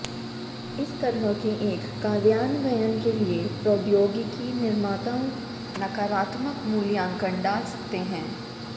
इस तरह के एक कार्यान्वयन के लिए प्रौद्योगिकी निर्माताओं नकारात्मक मूल्यांकन डाल सकते हैं